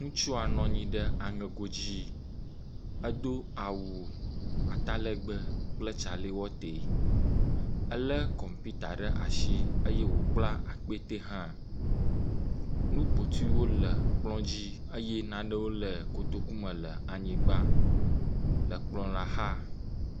Ŋutsua nɔ anyi ɖe aŋego dzi, edo awu atalegbe kple tsalewate. Elé kɔmpita ɖe asi eye wòkpla akpete hã. Nu kpotoewo le kplɔ dzi eye nanewo le kotoku me le anyigba le kplɔ la xa.